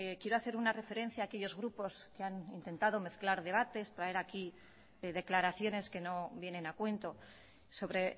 quiero hacer una referencia a aquellos grupos que han intentado mezclar debates traer aquí declaraciones que no vienen a cuento sobre